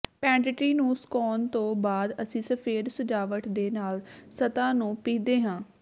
ਪੈਂਟਿਟੀ ਨੂੰ ਸੁਕਾਉਣ ਤੋਂ ਬਾਅਦ ਅਸੀਂ ਸਫੈਦ ਸਜਾਵਟ ਦੇ ਨਾਲ ਸਤ੍ਹਾ ਨੂੰ ਪੀਹਦੇ ਹਾਂ